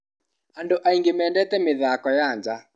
Andũ aingĩ mendete mĩthako ya nja.